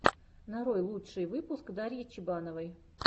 нарой лучший выпуск дарьи чебановой